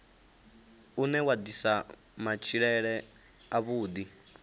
une wa ḓisa matshilele avhuḓi